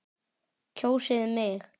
Kjósið mig.